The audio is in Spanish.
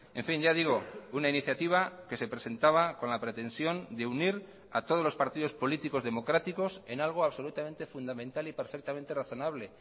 en fin ya digo una iniciativa que se presentaba con la pretensión de unir a todos los partidos políticos democráticos en algo absolutamente fundamental y perfectamente razonable